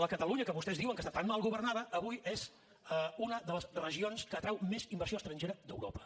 la catalunya que vostès diuen que està tan mal governada avui és una de les regions que atrau més inversió estrangera d’europa